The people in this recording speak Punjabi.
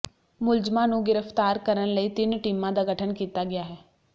ਮੁਲਜ਼ਮਾਂ ਨੂੰ ਗ੍ਰਿਫਤਾਰ ਕਰਨ ਲਈ ਤਿੰਨ ਟੀਮਾਂ ਦਾ ਗਠਨ ਕੀਤਾ ਗਿਆ ਹੈ